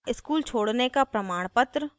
school छोडने का प्रमाणपत्र